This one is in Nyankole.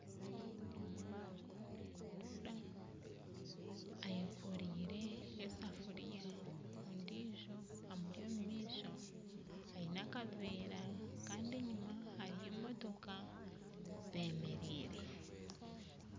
Omwana nayiragura ayekoreire esafuria ondiijo amuri omumaisho ayine akaveera Kandi enyuma hariyo emotooka zemereire